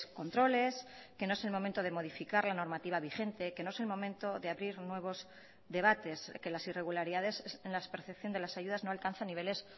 controles que no es el momento de modificar la normativa vigente que no es el momento de abrir nuevos debates que las irregularidades en la percepción de las ayudas no alcanza niveles